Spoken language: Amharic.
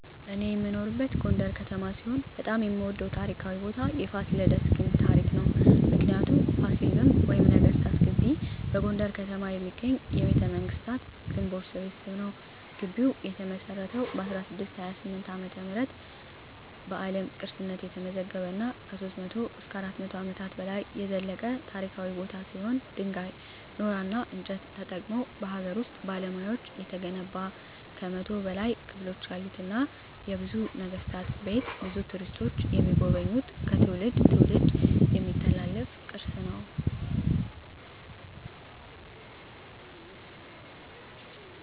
እኔ የምኖርበት ጎንደር ከተማ ሲሆን በጣም የምወደው ታሪካዊ ቦታ የፋሲለደስ ግንብ ታሪክ ነው። ምክንያቱ : ፋሲል ግንብ ወይም ነገስታት ግቢ በጎንደር ከተማ የሚገኝ የቤተመንግስታት ግንቦች ስብስብ ነው። ግቢው የተመሰረተው በ1628 ዓ.ም አቋቋመ በአለም ቅርስነት የተመዘገበ እና ከ300-400 አመታት በላይ የዘለቀ ታሪካዊ ቦታ ሲሆን ድንጋይ ,ኖራና እንጨት ተጠቅመው በሀገር ውስጥ ባለሙያዎች የተገነባ ከ100 በላይ ክፍሎች ያሉትና የብዙ ነገስታት ቤት ብዙ ቱሪስቶች የሚጎበኙት ከትውልድ ትውልድ የሚተላለፍ ቅርስ ነው።